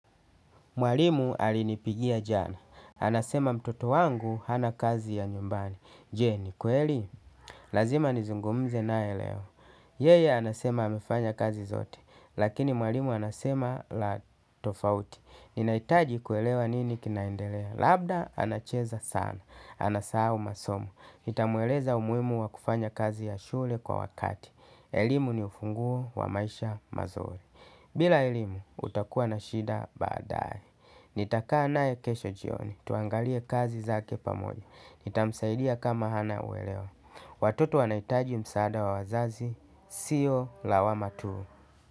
Mwalimu alinipigia jana. Anasema mtoto wangu hana kazi ya nyumbani. Je, ni kweli? Lazima nizungumze nae leo. Yeye, anasema amefanya kazi zote. Lakini mwalimu anasema la tofauti. Ninahitaji kuelewa nini kinaendelea. Labda, anacheza sana. Anasahau masomo, nitamueleza umuhimu wa kufanya kazi ya shule kwa wakati. Elimu ni ufunguo wa maisha mazuri. Bila elimu, utakua na shida baadae. Nitakaa nae kesho jioni. Tuangalie kazi zake pamoja. Nitamsaidia kama hana uelewa. Watoto wanahitaji msaada wa wazazi. Sio lawama tu.